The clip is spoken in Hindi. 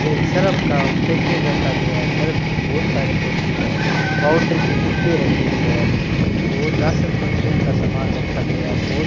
एक सर्फ का पैकेट रखा गया है सर्फ कि बहुत सारे पैकेट है पाउडर की डिब्बे रखी गई है बहुत राशन का फॉर्च्यून सामान रखा गया है बहुत --